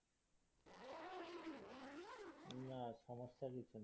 না সমস্যা কিছু নেই